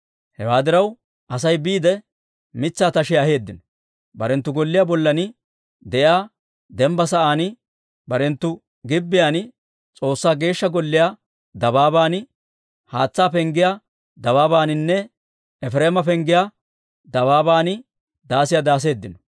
Hewaa diraw, Asay biide mitsaa tashiyaa aheeddino; barenttu golliyaa bollan de'iyaa dembba sa'aan, barenttu gibbiyaan, S'oossaa Geeshsha Golliyaa dabaaban, Haatsaa Penggiyaa dabaabaaninne Efireema Penggiyaa dabaaban daasiyaa daaseeddino.